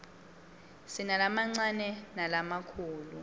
sinalamancane nalamakhulu